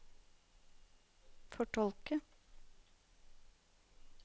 fortolke